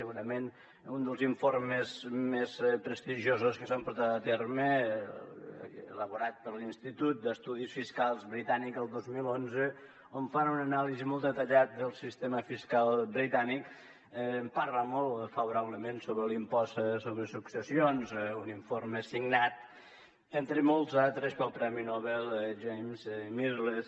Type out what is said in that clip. segurament un dels informes més prestigiosos que s’han portat a terme elaborat per l’institut d’estudis fiscals britànic el dos mil onze on fan una anàlisi molt detallada del sistema fiscal britànic parla molt favorablement sobre l’impost sobre successions un informe signat entre molts altres pel premi nobel james mirrlees